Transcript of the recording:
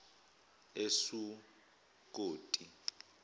esukoti